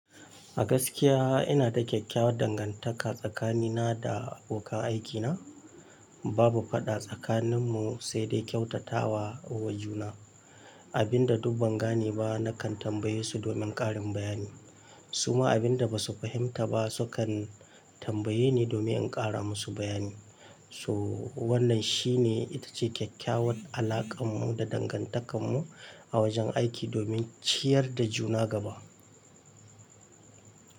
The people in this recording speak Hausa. A gaskiya ina da kyakkyawar dangantaka tsakanina da abokan aikina. Babu faɗa tsakaninmu, sai dai kyautata wa, wa juna. Abin da duk ban gane ba, nakan tambaye su domin ƙarin bayani. Su ma abin da ba su fahimta ba, sukan tambaye ni domin in ƙara musu bayani. So wannan shi ne, ita ce kyakkyawar alakar mu da dangantakar mu a wajen aiki domin ciyar da juna gaba.